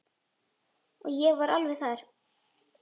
Og ég var alveg þar.